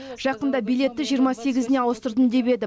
жақында билетті жиырма сегізіне ауыстырдым деп еді